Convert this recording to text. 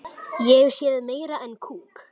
Ég elska þig, afi.